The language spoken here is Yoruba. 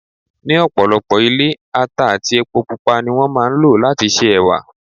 Ní ọ̀pọ̀lọpọ̀ ilé, ata àti epo Pupa ni wón máa ń lò láti se Ẹ̀wà.